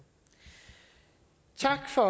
tak for